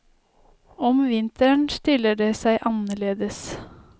Om vinteren stiller det seg annerledes.